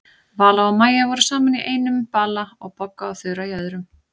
Vala og Maja voru saman í einum bala og Bogga og Þura í öðrum.